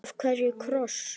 Af hverju kross?